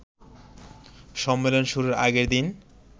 সম্মেলন শুরুর আগের দিন